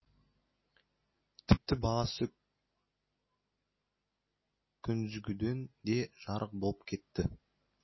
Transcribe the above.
тіпті баласы күндізгіден де жарық болып кетті